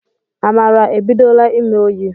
Amara ebidola ime oyi